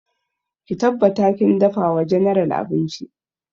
Ki tabbata kin dafa wa general abinci!